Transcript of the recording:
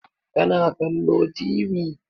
Ka na kallo Tv?